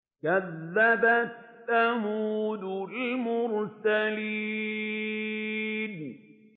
كَذَّبَتْ ثَمُودُ الْمُرْسَلِينَ